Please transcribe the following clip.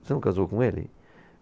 Você não casou com ele?